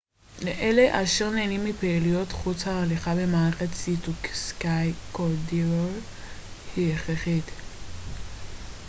לאלה אשר נהנים מפעילויות חוץ הליכה במעלה סי טו סקיי קורידור היא הכרחית